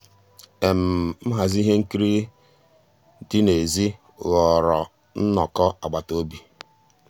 nhàzí íhé nkírí dị́ n'èzí ghọ́ọ́rà nnọ́kọ́ àgbàtà òbí.